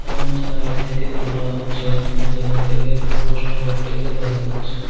এমন জায়গা থেকে তোলা হয়েছে যেখান থেকে পুরা শহরটিকে দেখা যাচ্ছে।